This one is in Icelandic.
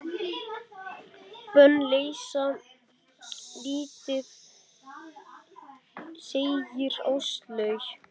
Bönn leysa lítið, segir Áslaug.